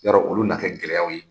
Yɔrɔ olu na kɛ gɛlɛyaw ye?